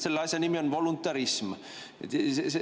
Selle asja nimi on voluntarism.